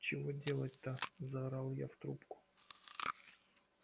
чего делать-то заорала я в трубку